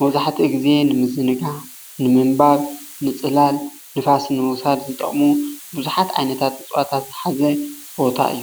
መብዛሕትኡ ግዜ ንዝንጋዕ፣ ንምንባብ ፣ንፅላልን ንፋስ ንምውሳድ ዝጠቅሙ ቡዙሓት ዓይነታት እፅዋት ዝሓዘ ቦታ እዩ፡፡